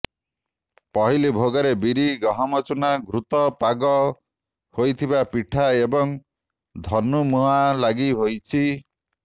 ପହିଲି ଭୋଗରେ ବିରି ଗହମଚୂନା ଘୃତ ପାଗ ହୋଇଥିବା ପିଠା ଏବଂ ଧନୁମୁଆଁ ଲାଗି ହୋଇଛି